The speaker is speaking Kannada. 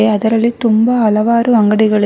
ಅದರಲ್ಲಿ ತುಂಬಾ ಹಲವಾರು ಅಂಗಡಿ ಗಳಿವೆ.